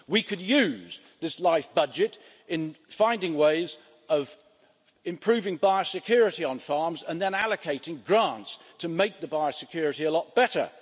We could use this LIFE budget to find ways of improving biosecurity on farms and then allocating grants to make the biosecurity a lot better.